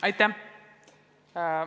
Aitäh!